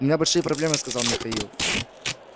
у меня большие проблемы сказал михаил